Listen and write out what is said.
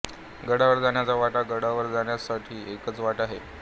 गडावर जाण्याच्या वाटा गडावर जण्यसठी एकच वाट आहे